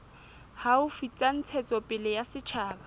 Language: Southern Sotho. haufi tsa ntshetsopele ya setjhaba